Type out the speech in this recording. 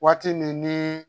Waati min ni